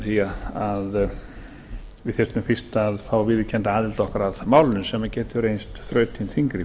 því við þyrftum fyrst að fá viðurkennda aðild okkar að málinu sem getur reynst þrautin þyngri